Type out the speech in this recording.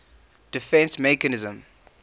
defence mechanism